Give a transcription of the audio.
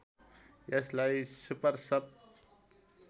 यसलाई सुपर सब